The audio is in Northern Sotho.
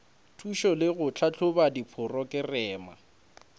thušo le go tlhahloba diporokerama